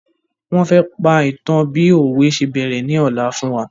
Wọn fẹ́ pa ìtan bi òwe se bẹ̀rẹ̀ ni ola fún wa